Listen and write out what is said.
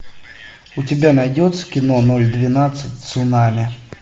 у тебя найдется кино ноль двенадцать цунами